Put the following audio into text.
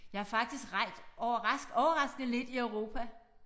Jeg har faktisk rejst overraskende lidt i Europa